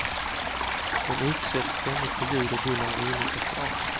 Den utsätts ständigt för ljud och buller av olika slag.